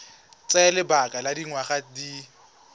tsaya lebaka la dikgwedi di